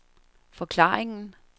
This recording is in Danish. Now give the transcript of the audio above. forklaringen